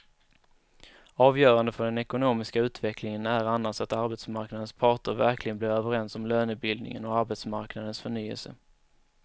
Avgörande för den ekonomiska utvecklingen är annars att arbetsmarknadens parter verkligen blir överens om lönebildningen och arbetsmarknadens förnyelse.